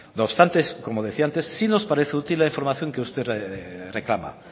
no obstante como decía antes sí nos parece útil la información que usted reclama